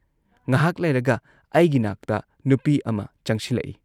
ꯉꯍꯥꯥꯛ ꯂꯩꯔꯒ ꯑꯩꯒꯤ ꯅꯥꯛꯇ ꯅꯨꯄꯤ ꯑꯃ ꯆꯪꯁꯤꯜꯂꯛꯏ ꯫